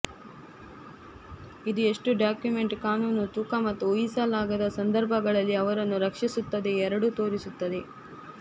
ಇದು ಎಷ್ಟು ಡಾಕ್ಯುಮೆಂಟ್ ಕಾನೂನು ತೂಕ ಮತ್ತು ಊಹಿಸಲಾಗದ ಸಂದರ್ಭಗಳಲ್ಲಿ ಅವರನ್ನು ರಕ್ಷಿಸುತ್ತದೆ ಎರಡೂ ತೋರಿಸುತ್ತದೆ